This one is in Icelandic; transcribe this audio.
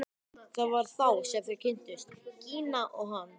Það var þá sem þau kynntust, Gína og hann.